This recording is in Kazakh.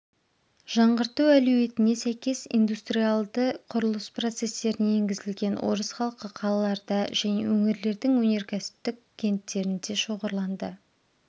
жаңғырту әлеуетіне сәйкес индустриалды құрылыс процестеріне енгізілген орыс халқы қалаларда және өңірлердің өнеркәсіптік кенттерінде шоғырланды